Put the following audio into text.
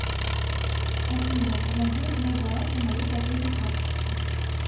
афина помоги узнать баланс на моей платежной карточке